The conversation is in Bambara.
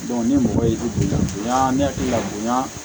ni mɔgɔ ye bi la bonya ne hakili la bonya